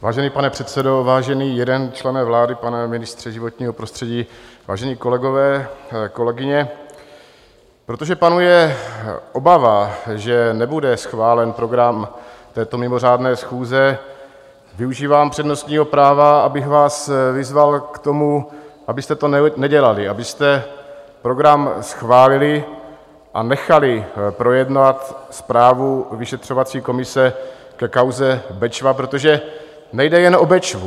Vážený pane předsedo, vážený jeden člene vlády, pane ministře životního prostředí, vážení kolegové, kolegyně, protože panuje obava, že nebude schválen program této mimořádné schůze, využívám přednostního práva, abych vás vyzval k tomu, abyste to nedělali, abyste program schválili a nechali projednat zprávu vyšetřovací komise ke kauze Bečva, protože nejde jen o Bečvu.